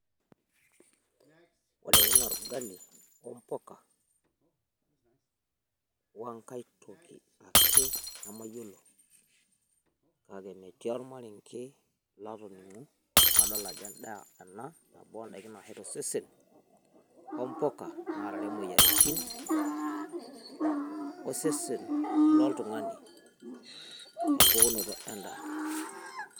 ore ele naa orgali ompuka, wenkae toki ake nemayiolo. etii ormarenke latoning'o ajo edaa ena naashet osesen, ompuka naarare imoyiaritin osesen loltungani. empukunoto edaa.